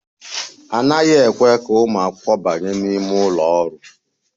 A naghị ekwe ka ụmụ akwụkwọ banye n'ime ụlọ ọrụ.